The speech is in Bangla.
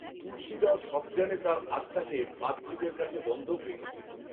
তুলসীগাও সজ্ঞানে তার আত্মাকে পাদ্রিদের কাছে বন‌্ধক রেখেছিল